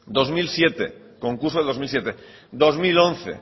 concurso del dos mil siete dos mil once